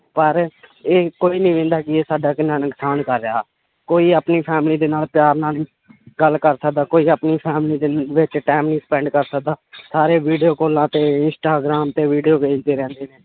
ਪਰ ਇਹ ਕੋਈ ਨੀ ਕਿ ਇਹ ਸਾਡਾ ਕਿੰਨਾ ਨੁਕਸਾਨ ਕਰ ਰਿਹਾ, ਕੋਈ ਆਪਣੀ family ਦੇ ਨਾਲ ਪਿਆਰ ਨਾਲ ਨੀ ਗੱਲ ਕਰ ਸਕਦਾ ਕੋਈ ਆਪਣੀ family ਵਿੱਚ time ਨੀ spend ਕਰ ਸਕਦਾ ਸਾਰੇੇ video ਕਾਲਾਂ ਤੇ ਇੰਸਟਾਗ੍ਰਾਮ ਤੇ video ਵੇਖਦੇ ਰਹਿੰਦੇ ਨੇ